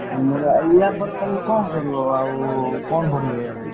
ୟା ପରେ ତମେ କଣ କରିବ ଆଉ କଣ ପଢିବ?